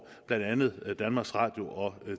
blandt andet danmarks radio og